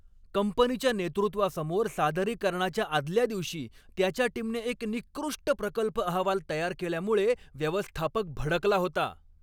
कंपनीच्या नेतृत्वासमोर सादरीकरणाच्या आदल्या दिवशी, त्याच्या टीमने एक निकृष्ट प्रकल्प अहवाल तयार केल्यामुळे व्यवस्थापक भडकला होता.